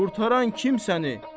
Qurtaran kim səni?